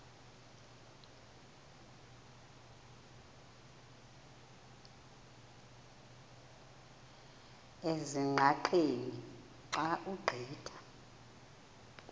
ezingqaqeni xa ugqitha